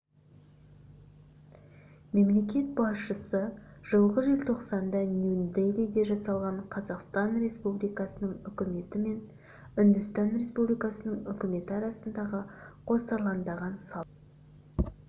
мемлекет басшысы жылғы желтоқсанда нью-делиде жасалған қазақстан республикасының үкіметі мен үндістан республикасының үкіметі арасындағы қосарландаған салық